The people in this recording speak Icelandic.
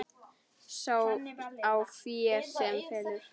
Sá á fé sem felur.